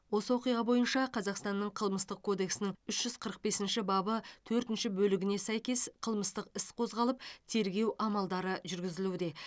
осы оқиға бойынша қазақстанның қылмыстық кодексінің үш жүз қырық бесінші бабы төртінші бөлігіне сәйкес қылмыстық іс қозғалып тергеу амалдары жүргізілуде